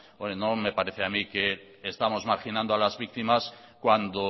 no me parece a mí que estamos marginando a las víctimas cuando